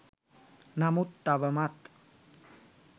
නමුත් තවමත්